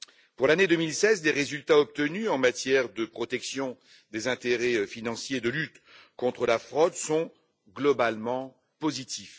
Pour l'année 2016, les résultats obtenus en matière de protection des intérêts financiers, de lutte contre la fraude, sont globalement positifs.